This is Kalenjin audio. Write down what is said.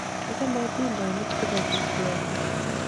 achame atindonik che bo kukuoe nyu.